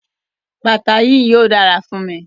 Bata yii yóò dara fun mi.